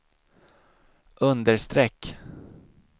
understreck